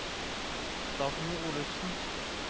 Dagny Olufsen